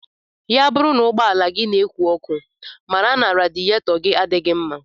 Ya bụrụ na ụgbọala gị na-eku oké ọkụ, mara na radiyetọgi adịghị mma